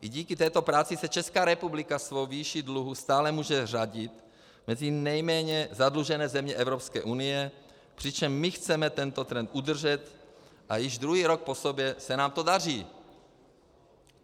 I díky této práci se Česká republika svou výší dluhu stále může řadit mezi nejméně zadlužené země Evropské unie, přičemž my chceme tento trend udržet - a již druhý rok po sobě se nám to daří.